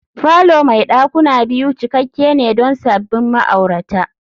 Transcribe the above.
falo mai dakuna biyu cikakke ne don sabbin ma'aurata